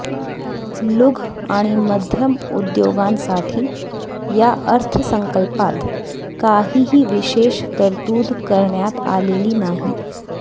लुघ आणि मध्यम उद्योगांसाठी या अर्थसंकल्पात काहीही विशेष तरतूद करण्यात आलेली नाही